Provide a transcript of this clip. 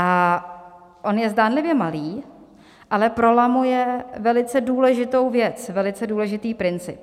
A on je zdánlivě malý, ale prolamuje velice důležitou věc, velice důležitý princip.